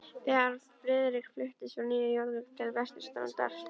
Þegar Friðrik fluttist frá Nýju Jórvík til vesturstrandar